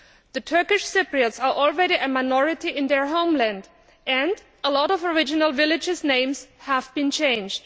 The Turkish Cypriots are already a minority in their homeland and a lot of original villages' names have been changed.